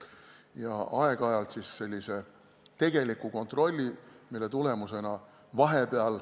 Ja aeg-ajalt siis tehtaks selline tegelik kontroll.